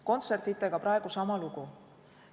Kontsertidega on praegu sama lugu.